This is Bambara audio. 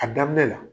A daminɛ la